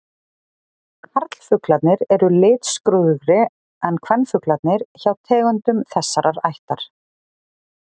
Karlfuglarnir eru litskrúðugri en kvenfuglarnir hjá tegundum þessarar ættar.